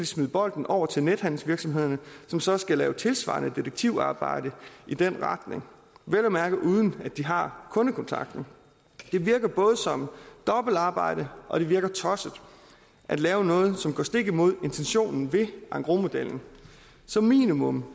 smide bolden over til nethandelsvirksomhederne som så skal lave tilsvarende detektivarbejde i den retning vel at mærke uden at de har kundekontakten det virker både som dobbeltarbejde og det virker tosset at lave noget som går stik imod intentionen ved engrosmodellen som minimum